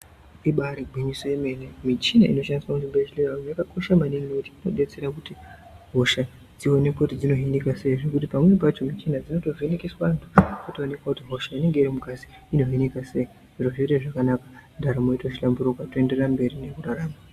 Ibairi gwinyiso yemene, mishina inoshandiswa muzvibhedhleri umo yakakosha maningi nokuti inobetsere kuti hosha dzionekwe kuti dzinohinika sei pamweni pacho mishina dzinovhinikiswa zvotoonekwa kuti hosha inenge iri mungazi inohinikwa sei zviro zvoende zvakanaka zvotohlamburuka ndaramo yoite zvakanaka.